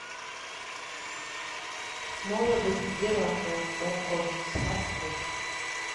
молодость геракла окко смарт бокс